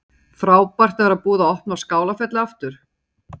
Jóhanna Margrét: Frábært að vera búið að opna Skálafelli aftur?